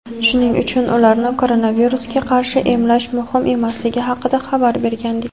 shuning uchun ularni koronavirusga qarshi emlash muhim emasligi haqida xabar bergandik.